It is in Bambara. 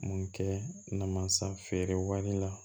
Mun kɛ namansa feere waati la